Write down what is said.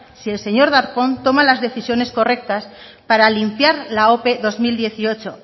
si el señor darpón toma las decisiones correctas para limpiar la ope dos mil dieciocho